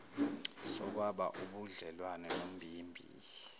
sokwaba ubudlelwane nombimbi